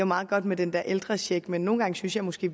meget godt med den der ældrecheck men nogle gange synes jeg måske